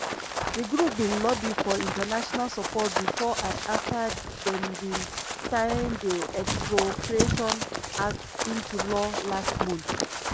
di group bin lobby for international support bifor and afta dem bin sign di expropriation act into law last month.